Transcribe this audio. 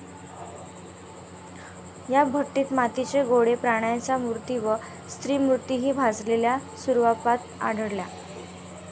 या भट्टीत मातीचे गोळे, प्राण्यांच्या मूर्ती वा स्त्रीमूर्तिहि भाजलेल्या स्वरुपात आढळल्या.